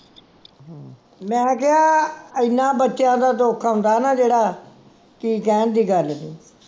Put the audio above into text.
ਮੈਂ ਕਿਹਾ ਇੰਨਾ ਬੱਚਿਆਂ ਦਾ ਦੁੱਖ ਆਉਂਦਾ ਨਾ ਜਿਹੜਾ ਕਿ ਕਹਿਣ ਦੀ ਗੱਲ ਸੀ